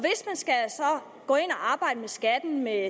arbejde med skatten med